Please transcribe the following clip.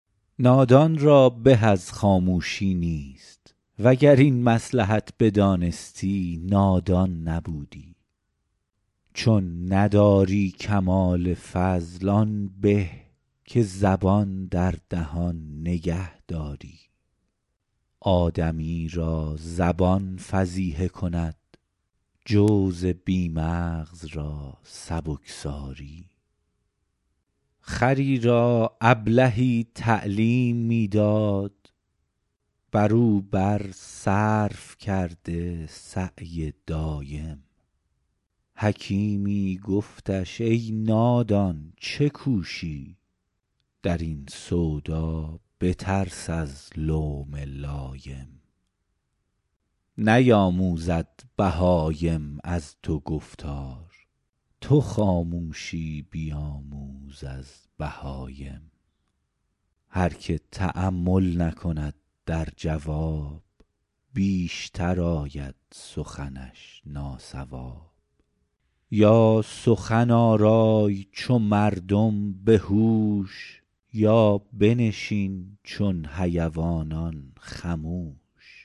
نادان را به از خاموشی نیست وگر این مصلحت بدانستی نادان نبودی چون نداری کمال فضل آن به که زبان در دهان نگه داری آدمی را زبان فضیحه کند جوز بی مغز را سبکساری خری را ابلهی تعلیم می داد بر او بر صرف کرده سعی دایم حکیمی گفتش ای نادان چه کوشی در این سودا بترس از لوم لایم نیاموزد بهایم از تو گفتار تو خاموشی بیاموز از بهایم هر که تأمل نکند در جواب بیشتر آید سخنش ناصواب یا سخن آرای چو مردم به هوش یا بنشین چون حیوانان خموش